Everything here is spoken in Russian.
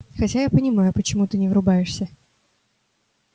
хотя я не понимаю почему ты не врубаешься